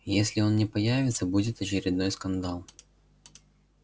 если он не появится будет очередной скандал